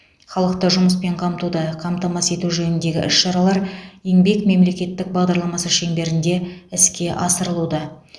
халықты жұмыспен қамтуды қамтамасыз ету жөніндегі іс шаралар еңбек мемлекеттік бағдарламасы шеңберінде іске асырылуда